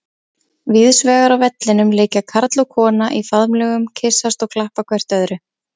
Víðsvegar á vellinum liggja karl og kona í faðmlögum, kyssast og klappa hvert öðru.